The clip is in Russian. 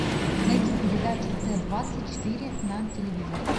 найди передачу т двадцать четыре на телевизоре